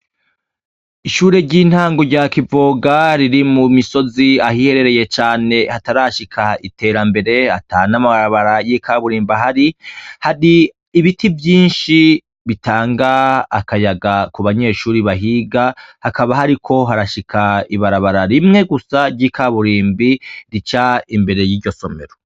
Ishure ry'intango rya Kivoga riri mu misozi, ahiherereye cane, hatarashika iterambere, atanamabarabara y'ikaburimbo ahari. Hari ibiti vyinshi bitanga akayaga ku banyeshure bahiga hakaba hariko harashika ibarabara rimwe gusa ry'ikaburimbi rica imbere y'iryo somero.